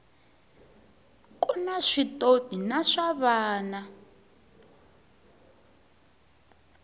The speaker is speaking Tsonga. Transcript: kuna switotrna swa vana